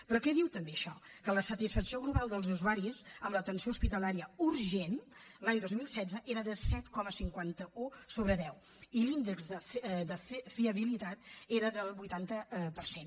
però què diu també això que la satisfacció global dels usuaris amb l’atenció hospitalària urgent l’any dos mil setze era de set coma cinquanta un sobre deu i l’índex de fiabilitat era del vuitanta per cent